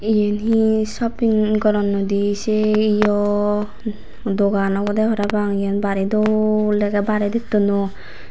iyan he shopping goronnoi d se iyo dogan obode parapang iyan bari dol dege baredittun u.